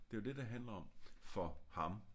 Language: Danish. Det er jo det det handler om for ham